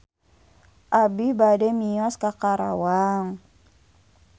Abi bade mios ka Karawang